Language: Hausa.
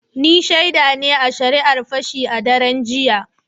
Ni shaida ne a shari’ar Fashi a daren jiya.